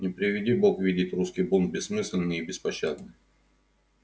не приведи бог видеть русский бунт бессмысленный и беспощадный